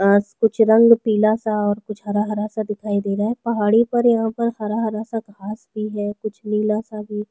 आज कुछ रंग पिला सा और कुछ रंग हरा-हरा सा दिखाई दे रहा है पहाड़ी पार कुछ हरा-हरा सा घाँस भी है कुछ नीला सा भी--